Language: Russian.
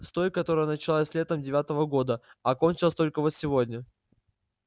с той которая началась летом девятого года а кончилась только вот сегодня